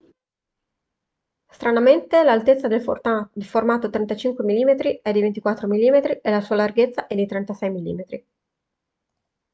stranamente l'altezza del formato 35 mm è di 24 mm e la sua larghezza è di 36 mm